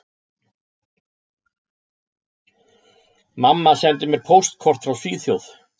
Mamma sendi mér póstkort frá Svíþjóð